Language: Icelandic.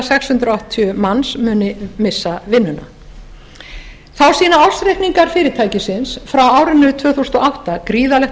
sex hundruð áttatíu manns muni missa vinnuna þá sýna ársreikningar fyrirtækisins frá árinu tvö þúsund og átta gríðarleg